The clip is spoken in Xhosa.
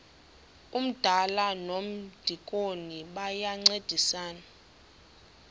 umdala nomdikoni bayancedisana